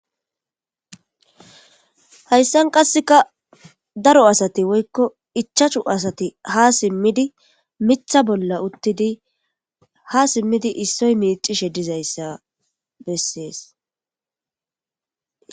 Haysan qaseka daro asati woyko ichachu asati ha simidi mitha bola utidi ha simidi isoy micishe dizaysa beses